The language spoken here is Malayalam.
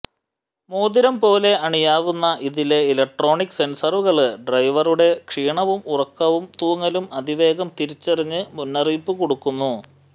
മോതിരം പോലെ അണിയാവുന്ന ഇതിലെ ഇലക്ട്രോണിക് സെന്സറുകള് ഡ്രൈവറുടെ ക്ഷീണവും ഉറക്കം തൂങ്ങലും അതിവേഗം തിരിച്ചറിഞ്ഞ് മുന്നറിയിപ്പ് കൊടുക്കുന്നു